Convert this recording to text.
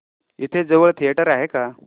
इथे जवळ थिएटर आहे का